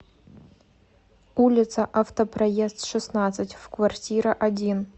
улица автопроезд шестнадцать в квартира один